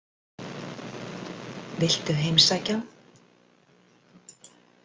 Viltu heimsækja hann?